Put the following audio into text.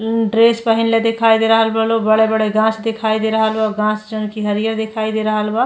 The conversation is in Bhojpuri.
ड्रेस पहिनले देखे दे रहल बा लोग। बड़े-बड़े गाछ दिखाई दे रहल बा। गाछ जोन कि हरियर दिखाई दे रहल बा।